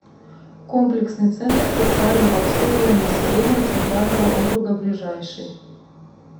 комплексный центр социального обслуживания населения центрального округа ближайший